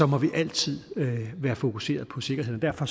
må vi altid være fokuseret på sikkerheden derfor